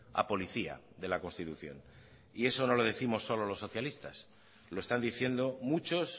a policía de la constitución y eso no lo décimos solo los socialistas lo están diciendo muchos